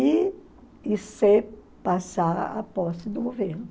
e e se passar a posse do governo.